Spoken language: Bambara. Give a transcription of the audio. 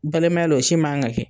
Balimaya la o si man ka kɛ